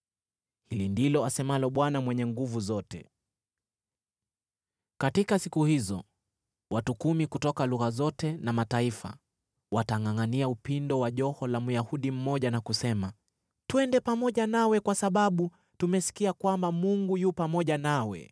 Hili ndilo asemalo Bwana Mwenye Nguvu Zote: “Katika siku hizo watu kumi kutoka lugha zote na mataifa, watangʼangʼania upindo wa joho la Myahudi mmoja na kusema, ‘Twende pamoja nawe kwa sababu tumesikia kwamba Mungu yu pamoja nawe.’ ”